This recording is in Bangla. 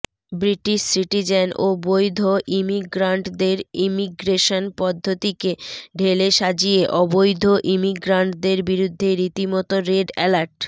বৃটিশ সিটিজেন ও বৈধ ইমিগ্রান্টদের ইমিগ্রেশন পদ্ধতিকে ঢেলে সাজিয়ে অবৈধ ইমিগ্রান্টদের বিরুদ্ধে রিতিমতো রেড এলার্ট